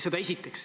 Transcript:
Seda esiteks.